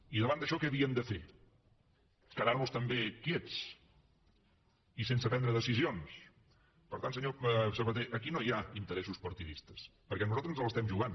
i davant d’això què havíem de fer quedar nos també quiets i sense prendre decisions per tant senyor sabaté aquí no hi ha interessos partidistes perquè nosaltres ens l’estem jugant